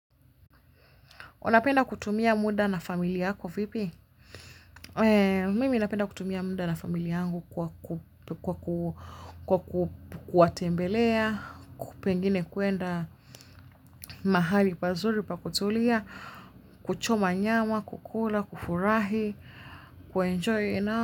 Unapenda kutumia muda na familia yako vipi? Mimi napenda kutumia muda na familia yangu kwa kuwatembelea pengine kwenda mahali pazuri pa kutulia kuchoma nyama kukula kufurahi.